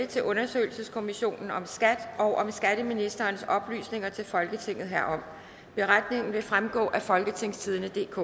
til undersøgelseskommissionen om skat og om skatteministerens oplysninger til folketinget herom beretningen vil fremgå af folketingstidendedk